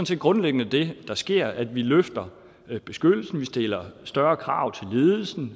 set grundlæggende det der sker altså at vi løfter beskyttelsen vi stiller større krav til ledelsen